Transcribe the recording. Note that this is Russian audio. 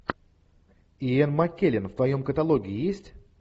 йен маккеллен в твоем каталоге есть